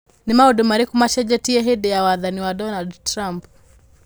Nĩ maũndũ marĩkũ macenjetie hĩndĩ ya wathani wa Donald Trump?